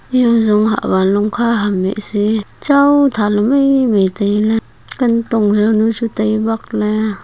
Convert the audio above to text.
eya jong hahwan longkha ham hehsi chao thaley mai mai tailey kantong jawnu chu tai bakley.